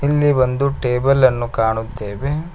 ಇಲ್ಲಿ ಒಂದು ಟೇಬಲ್ ಅನ್ನು ಕಾಣುತ್ತೇವೆ.